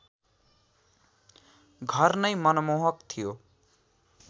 घर नै मनमोहक थियो